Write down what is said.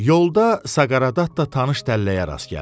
Yolda Saqareddatta tanış dəlləyə rast gəldi.